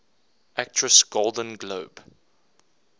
actress golden globe